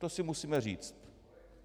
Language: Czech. To si musíme říct.